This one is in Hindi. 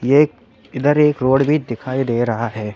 ये एक इधर एक रोड भी दिखाई दे रहा है।